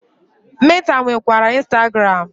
Meta nwekwara Instagram.